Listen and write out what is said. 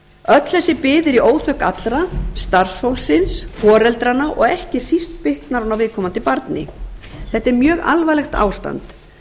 öll þessi bið er í óþökk allra starfsfólksins foreldranna og ekki síst bitnar hún á viðkomandi barni þetta er mjög alvarlegt ástand